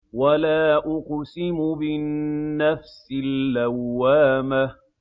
وَلَا أُقْسِمُ بِالنَّفْسِ اللَّوَّامَةِ